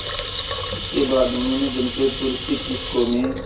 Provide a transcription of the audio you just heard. इसके बाद उन्होंने जमशेदपुर स्थित टिस्को में